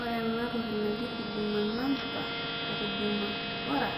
Ore ena toki na naji huduma namba o huduma bora